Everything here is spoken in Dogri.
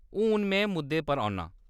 हून में मुद्दे पर औन्नां ।